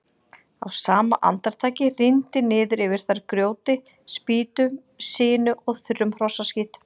Á sama andartaki rigndi niður yfir þær grjóti, spýtum, sinu og þurrum hrossaskít.